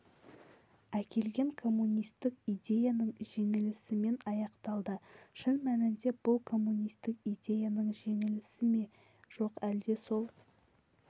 әкелген коммунистік идеяның жеңілісімен аяқталды шын мәнінде бұл коммунистік идеяның жеңілісі ме жоқ әлде сол